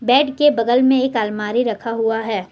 Bed के बगल में एक अलमारी रखा हुआ है।